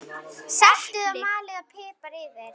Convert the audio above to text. Saltið og malið pipar yfir.